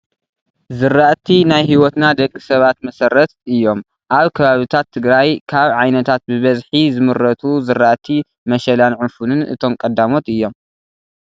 ዝራእቲ ናይ ህይወትና ደቂ ሰብ መሰረት እዮም፡፡ ኣብ ከባብታት ትግራይ ካብ ዓይነታት ብብዝሒ ዝምረቱ ዝራእቲ መሸላን ዕፉንን እቶም ቀዳሞት እዮም፡፡